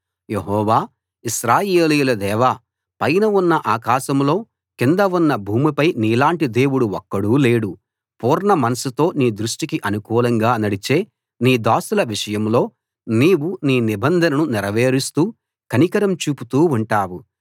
యెహోవా ఇశ్రాయేలీయుల దేవా పైన ఉన్న ఆకాశంలో కింద ఉన్న భూమిపై నీలాంటి దేవుడు ఒక్కడూ లేడు పూర్ణమనస్సుతో నీ దృష్టికి అనుకూలంగా నడిచే నీ దాసుల విషయంలో నీవు నీ నిబంధనను నెరవేరుస్తూ కనికరం చూపుతూ ఉంటావు